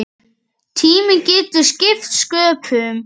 Tíminn getur skipt sköpum.